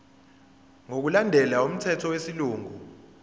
ngokulandela umthetho wesilungu